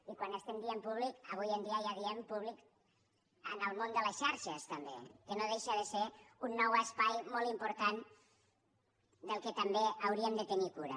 i quan diem públic avui en dia ja diem públic en el món de les xarxes també que no deixa ser un nou espai molt important del qual també hauríem de tenir cura